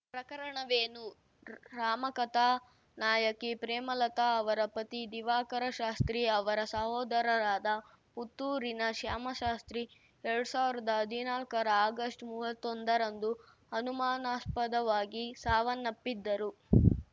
ಪ್ರಕರಣವೇನು ರಾಮಕಥಾ ನಾಯಕಿ ಪ್ರೇಮಲತಾ ಅವರ ಪತಿ ದಿವಾಕರ ಶಾಸ್ತ್ರಿ ಅವರ ಸಹೋದರರಾದ ಪುತ್ತೂರಿನ ಶ್ಯಾಮಶಾಸ್ತ್ರಿ ಎರಡ್ ಸಾವ್ರ್ದಾ ಹದ್ನಾಲ್ಕರ ಆಗಸ್ಟ್‌ ಮೂವತ್ತೊಂದರಂದು ಅನುಮಾನಾಸ್ಪದವಾಗಿ ಸಾವನ್ನಪ್ಪಿದ್ದರು